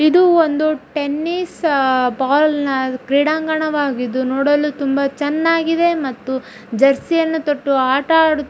ಇದು ಒಂದು tennis ball ನ ಕ್ರೀಡಾಂಗಣವಾಗಿದು ನೋಡಲು ತುಂಬ ಚೆನ್ನಾಗಿದೆ ಮತ್ತು ಜೆರಸ್ಯ್ ಯನ್ನು ತಟ್ಟು ಆಟಾಡು--